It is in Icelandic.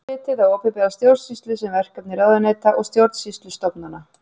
Þá er litið á opinbera stjórnsýslu sem verkefni ráðuneyta og stjórnsýslustofnana.